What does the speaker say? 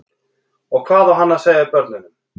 Og hvað á hann að segja börnunum?